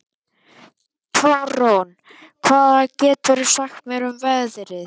Tarón, hvað geturðu sagt mér um veðrið?